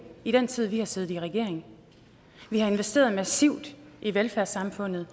i den tid vi har siddet i regering vi har investeret massivt i velfærdssamfundet